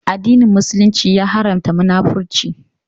Addinin Musulunci ya Haramta Munafurci